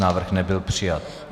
Návrh nebyl přijat.